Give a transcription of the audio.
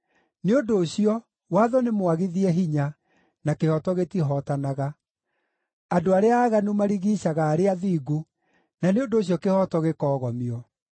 Nĩ ũndũ ũcio, watho nĩmwagithie hinya, na kĩhooto gĩtihootanaga. Andũ arĩa aaganu marigiicaga arĩa athingu, na nĩ ũndũ ũcio kĩhooto gĩkoogomio.